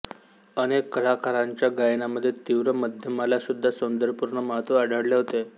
अनेक कलाकारांच्या गायनामध्ये तीव्र मध्यमाला सुद्धा सौंदर्यपूर्ण महत्त्व दिलेले आढळते